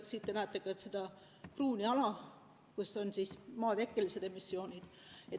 Ja siin te näetegi seda pruuni ala, kus on sellised emissioonid.